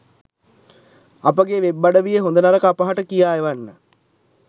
අපගේ වෙබ්අඩවියේ හොඳ නරක අපහට කියා එවන්න